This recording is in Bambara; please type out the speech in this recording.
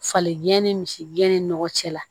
Falen jɛni misi gɛn ni nɔgɔ cɛ la